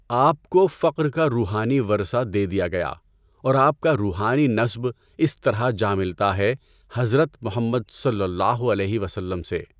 آپ کو فقر کا روحانی ورثہ دے دیا گیا اور آپ کا روحانی نسب اس طرح جا ملتا ہے حضرت محمد صلی اللہ علیہ وسلم سے۔